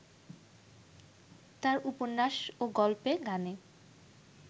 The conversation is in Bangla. তার উপন্যাস ও গল্পে গানে